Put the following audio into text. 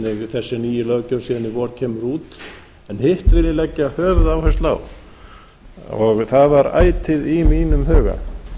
þessi nýja löggjöf síðan vor kemur út en hitt vil ég leggja höfuðáherslu á og það var ætíð í mínum huga